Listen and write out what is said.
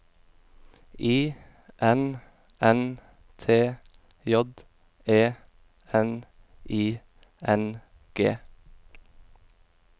I N N T J E N I N G